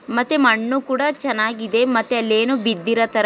ಮತ್ತೆ ಮಣ್ಣು ಕೂಡ ಚೆನ್ನಾಗಿದೆ. ಮತ್ತೆ ಅಲ್ಲಿ ಏನೋ ಬಿದ್ದಿರೋತರ --